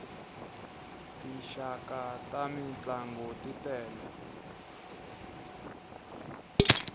tinxaka ta mintlangu t tele